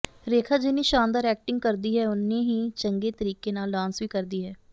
ਰੇਖਾ ਜਿੰਨੀ ਸ਼ਾਨਦਾਰ ਐਕਟਿੰਗ ਕਰਦੀ ਹੈ ਓਨਾ ਹੀ ਚੰਗੇ ਤਰੀਕੇ ਨਾਲ ਡਾਂਸ ਵੀ ਕਰਦੀ ਹੈ